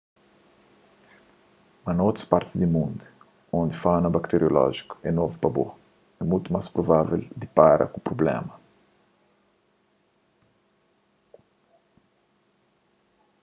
mas na otu partis di mundu undi fauna bakteriolójiku é novu pa bo é mutu más provavel dipara ku prublémas